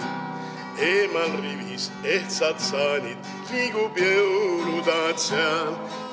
Eemal rivis ehtsad saanid, liigub jõulutaat seal.